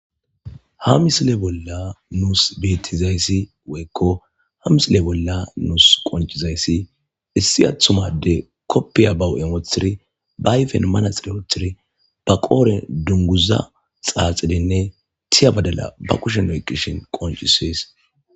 ha misile bolla nuus betizayssi woykko ha misile bolla nuus qoncizayssi issi athumade koppiya bawu7emothiri baayfen manaxire othiri ba qooren dunguza xaaxidinne tiya badala ba kushen oy qishin qoncisees